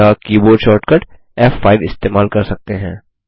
या keyboard shortcut F five इस्तेमाल कर सकते हैं